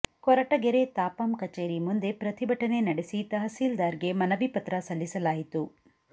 ಕೊರಟಗೆರೆ ತಾಪಂ ಕಚೇರಿ ಮುಂದೆ ಪ್ರತಿಭಟನೆ ನಡೆಸಿ ತಹಸೀಲ್ದಾರ್ ಗೆ ಮನವಿ ಪತ್ರ ಸಲ್ಲಿಸಲಾಯಿತು